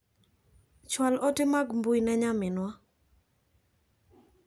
Chwal ote mag mbui ne nyaminwa .